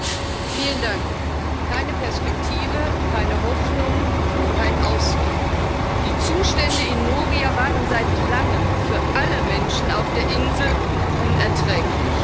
Frau Präsidentin! Keine Perspektive, keine Hoffnung, kein Ausweg! Die Zustände in Moria waren seit Langem für alle Menschen auf der Insel unerträglich.